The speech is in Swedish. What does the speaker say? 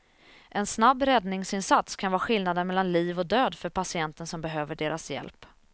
En snabb räddningsinsats kan vara skillnaden mellan liv och död för patienten som behöver deras hjälp.